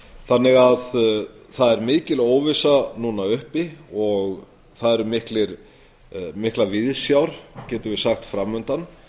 þannig að það er mikil óvissa núna uppi og það eru miklar viðsjár getum við sagt framundan